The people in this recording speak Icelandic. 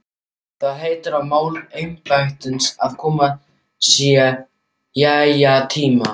Það heitir á máli embættisins að kominn sé jæja-tími.